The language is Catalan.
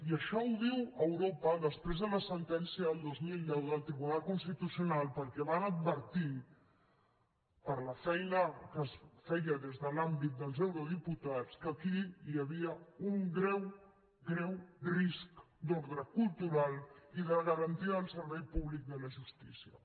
i això ho diu europa després de la sentència del dos mil deu del tribunal constitucional perquè van advertir per la feina que es feia des de l’àmbit dels eurodiputats que aquí hi havia un greu greu risc d’ordre cultural i de garantir el servei públic de la justícia